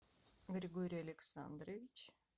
григорий александрович